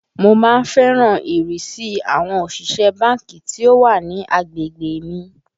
Mo má ń fẹ́ràn ìrísí àwọn òṣìṣẹ́ ẹ báńkì tí ó wà ní agbègbè mi